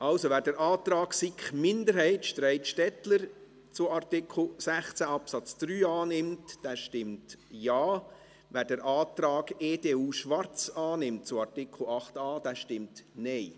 Also, wer den Antrag SiK Minderheit/Streit-Stettler zu Artikel 16 Absatz 3 annimmt, stimmt Ja, wer den Antrag EDU/Schwarz annimmt, zu Artikel 8a, stimmt Nein.